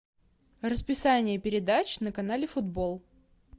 расписание передач на канале футбол